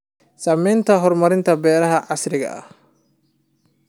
Saamaynta horumarinta beeraha casriga ah.